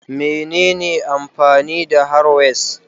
Menene amfani da harrowers?